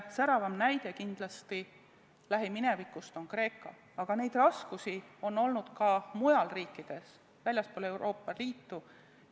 Säravaim näide lähiminevikust on kindlasti Kreeka, aga raskusi on olnud ka mujal riikides väljaspool Euroopa Liitu.